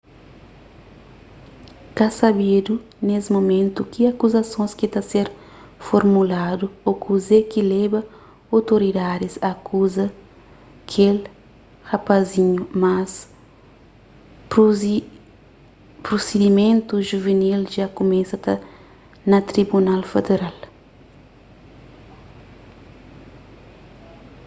ka sabedu nes mumentu ki akuzasons ki ta ser formuladu ô kuze ki leba otoridadis a akuza kel rapazinhu mas prusidimentus juvinil dja kumesa na tribunal federal